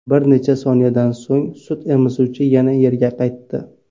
Bir necha soniyadan so‘ng sut emizuvchi yana yerga qaytdi.